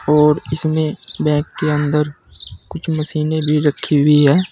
और इसमें बैंक के अंदर कुछ मशीने भी रखी हुई है।